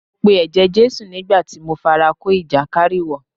Mo pe ẹ̀jẹ̀ Jésù nígbà tí mo fara kó ìjàkárìwọ̀.